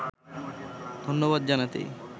ধন্যবাদ জানাতেই